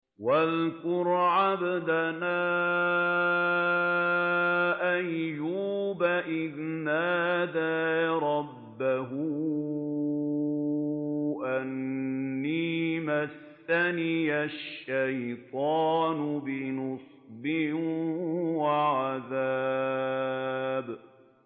وَاذْكُرْ عَبْدَنَا أَيُّوبَ إِذْ نَادَىٰ رَبَّهُ أَنِّي مَسَّنِيَ الشَّيْطَانُ بِنُصْبٍ وَعَذَابٍ